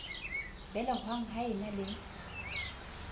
belehwang ba e na le